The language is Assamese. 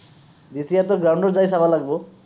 জেঠীহঁতো ground ত যায় চাব লাগিব